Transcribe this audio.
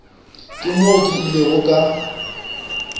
ke moo ke ilego ka